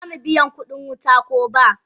Ma mu biya kudin wuta ko ba.